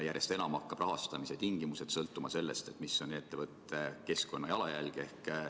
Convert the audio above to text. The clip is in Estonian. Järjest enam hakkavad rahastamise tingimused sõltuma sellest, milline on ettevõtte keskkonnajalajälg.